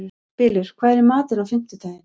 Bylur, hvað er í matinn á fimmtudaginn?